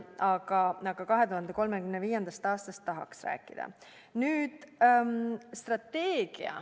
Aga 2035. aastast tahaks rääkida.